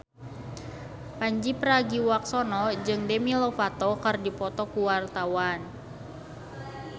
Pandji Pragiwaksono jeung Demi Lovato keur dipoto ku wartawan